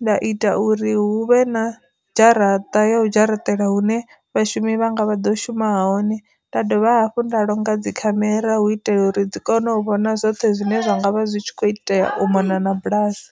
nda ita uri hu vhe na dzharaṱa ya u dzharaṱele hune vha shumi vhanga vha ḓo shuma hone, nda dovha hafhu nda longa dzi khamera hu itela uri dzi kone u vhona zwoṱhe zwine zwa ngavha zwi tshi kho itea u mona na bulasi.